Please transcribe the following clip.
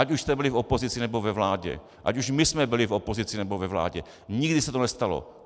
Ať už jste byli v opozici, nebo ve vládě, ať už my jsme byli v opozici, nebo ve vládě, nikdy se to nestalo.